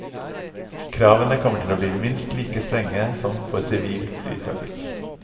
Kravene kommer til å bli minst like strenge som for sivil flytrafikk.